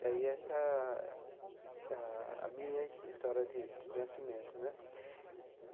E aí essa é a minha história de de nascimento, né?